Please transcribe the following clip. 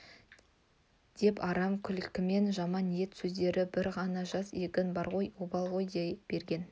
деп арам күлкімен жаман ниет сездірді бір ғана жас егін бар ғой обал ғой дей берген